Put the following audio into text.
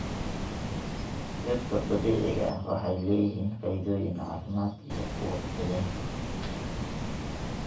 Dhirta dabiiciga ah waxay leeyihiin faa'iidooyin caafimaad iyo kuwo deegaanka.